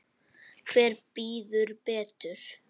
Hver bíður betur?